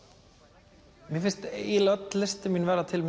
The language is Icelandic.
mér finnst eiginlega öll listin mín verða til